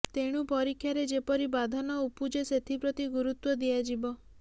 ତେଣୁ ପରୀକ୍ଷାରେ ଯେପରି ବାଧା ନ ଉପୁଜେ ସେଥିପ୍ରତି ଗୁରୁତ୍ବ ଦିଆଯିବ